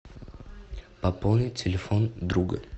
пополнить телефон друга